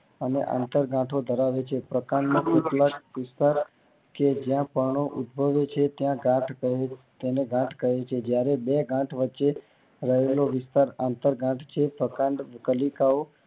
અને આંતરગાંઠો ધરાવે છે પ્રકાંડ કે જ્યાં પર્ણ ઉદભવે છે ત્યાં ગાંઠ તેને કહે છે જયારે બે ગાંઠ વચ્ચે રહેલો વિસ્તાર આંતર ગાંઠ છે. પ્રકાંડ કલિકાઓ